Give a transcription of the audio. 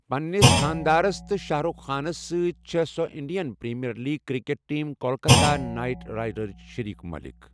پننِس خانٛدارَس تہٕ شاہ رخ خانَس سۭتۍ چھِ سۄ Indian Premier League cricket team Kolkata Knight رائیڈرٕچ شریک مٲلک۔